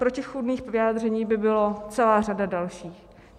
Protichůdných vyjádření by byla celá řada dalších.